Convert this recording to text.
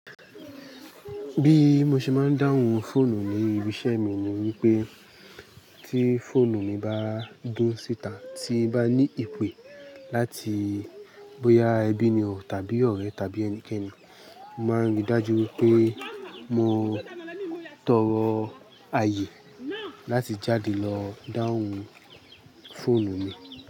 Bí mo ṣe máa ń dáhùn fóònù ní ibi iṣẹ́ mi ni wípé tí fóònù mi bá dún síta tí bá ní ìpè láti bóyá ẹbí ni o tàbí ọ̀rẹ́ tàbí ẹnikẹ́ni, mo máa ń rí i dájú wípé mo tọrọ ààyè láti jáde lọ dáhùn fóònù mi.